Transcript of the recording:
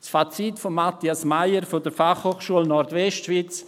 » Das Fazit von Matthias Meyer von der FHNW: